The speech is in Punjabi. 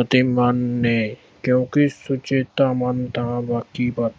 ਅਤੇ ਮਨ ਨੇ ਕਿਉਂਕਿ ਸੁਚੇਤਾ ਮਨ ਤਾਂ ਬਾਕੀ ਪਰ